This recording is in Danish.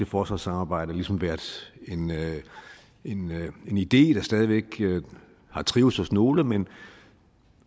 forsvarssamarbejde ligesom været en en idé der stadig væk har trivedes hos nogle og